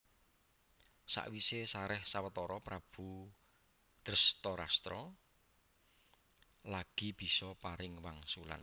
Sawise sareh sawetara Prabu Drestarstra lagi bisa paring wangsulan